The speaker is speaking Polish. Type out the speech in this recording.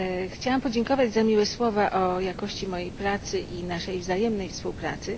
Chciałam podziękować za miłe słowa o jakości mojej pracy i naszej wzajemnej współpracy.